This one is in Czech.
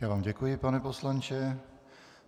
Já vám děkuji, pane poslanče.